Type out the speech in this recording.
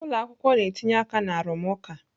ụlọ akwụkwọ na-etinye aka na arụmụka.